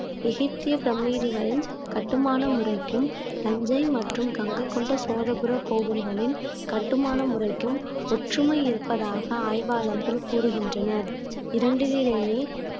எகிப்திய பிரமிடுகளின் கட்டுமான முறைக்கும் தஞ்சை மற்றும் கங்கை கொண்ட சோழபுர கோவில்களின் கட்டுமான முறைக்கும் ஒற்றுமை இருப்பதாக ஆய்வாளர்கள் கூறுகின்றனர் இரண்டிலையுமே